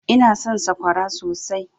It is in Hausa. Ina son sakwara sosai.